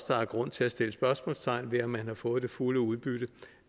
der er grund til at stille spørgsmålstegn ved om man har fået det fulde udbytte